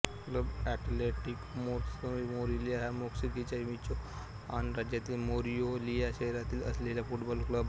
club Atletico Monarcas Morelia हा मेक्सिकोच्या Michoacan राज्यातील मोरेलिया शहरात असलेला फुटबॉल क्लब आहे